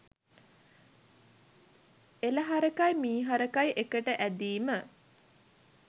එළ හරකයි මි හරකයි එකට ඇදීම